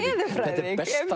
þetta er